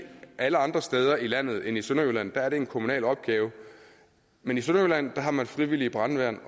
alle andre steder i landet end i sønderjylland er det en kommunal opgave men i sønderjylland har man frivillige brandværn